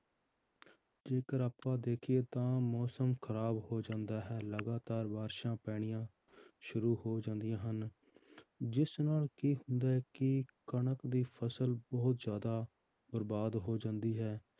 ਜੇਕਰ ਆਪਾਂ ਦੇਖੀਏ ਤਾਂ ਮੌਸਮ ਖ਼ਰਾਬ ਹੋ ਜਾਂਦਾ ਹੈ ਲਗਾਤਾਰ ਬਾਰਿਸ਼ਾਂ ਪੈਣੀਆਂ ਸ਼ੁਰੂ ਹੋ ਜਾਂਦੀਆਂ ਹਨ ਜਿਸ ਨਾਲ ਕੀ ਹੁੰਦਾ ਹੈ ਕਿ ਕਣਕ ਦੀ ਫਸਲ ਬਹੁਤ ਜ਼ਿਆਦਾ ਬਰਬਾਦ ਹੋ ਜਾਂਦੀ ਹੈ